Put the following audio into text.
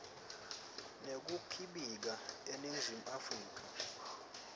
nekukhibika eningizimu afrika